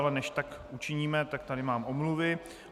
Ale než tak učiníme, tak tady mám omluvy.